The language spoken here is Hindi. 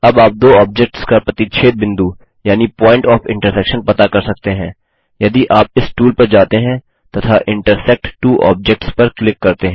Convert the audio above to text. अब आप दो ऑब्जेक्ट्स का प्रतिच्छेद बिंदु यानि पॉइंट ऑफ इन्टर्सेक्शन पता कर सकते हैं यदि आप इस टूल पर जाते हैं तथा इंटरसेक्ट त्वो ऑब्जेक्ट्स पर क्लिक करते हैं